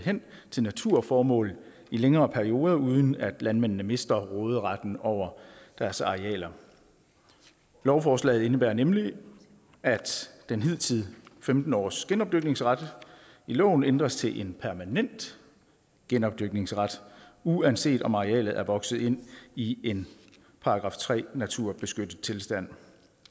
hen til naturformål i længere perioder uden at landmændene mister råderetten over deres arealer lovforslaget indebærer nemlig at den hidtidige femten års genopdyrkningsret i loven ændres til en permanent genopdyrkningsret uanset om arealet er vokset ind i en § tre naturbeskyttet tilstand